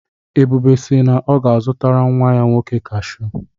Ebube si na ọ ga-azụtara nnwa ya nwoke kashụ.